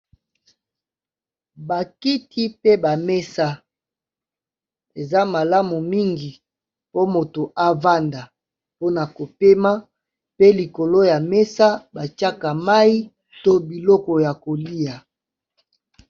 Ba kiti pe ba mesa eza malamu mingi po moto a vanda, po na ko pema pe likolo ya mesa , ba tiaka mayi to biloko ya kolia .